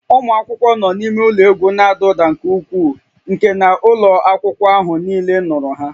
Ụmụ akwụkwọ nọ n'ime ụlọ egwu na-ada ụda nke ukwuu nke na ụlọ akwụkwọ ahụ niile nụrụ ha